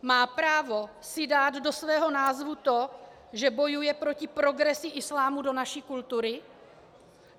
Má právo si dát do svého názvu to, že bojuje proti progresi islámu do naší kultury?